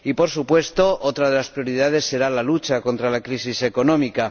Por supuesto, otra de las prioridades será la lucha contra la crisis económica.